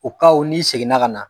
n'i seginna ka na